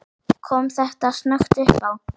Kom þetta snöggt uppá?